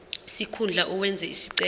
sikhundla owenze isicelo